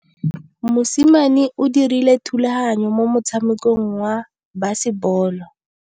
Mosimane o dirile thubaganyô mo motshamekong wa basebôlô.